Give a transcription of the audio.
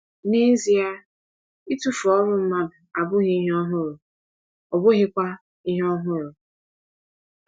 N’ezie, ịtụfu ọrụ mmadụ abụghị ihe ọhụrụ, ọ bụghịkwa ihe ọhụrụ.